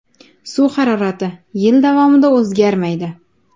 Suv harorati yil davomida o‘zgarmaydi.